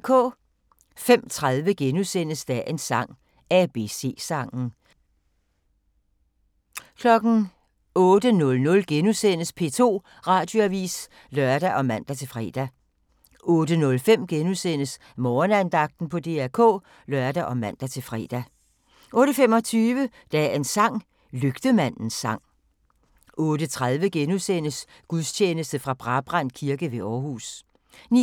05:30: Dagens sang: ABC-sangen * 08:00: P2 Radioavis *(lør og man-fre) 08:05: Morgenandagten på DR K *(lør og man-fre) 08:25: Dagens sang: Lygtemandens sang 08:30: Gudstjeneste fra Brabrand Kirke ved Aarhus * 09:35: